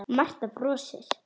Marta brosir.